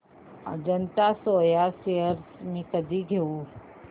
Ajanta soya shares मी कधी घेऊ